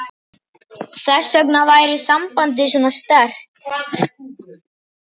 Þess vegna væri sambandið svona sterkt.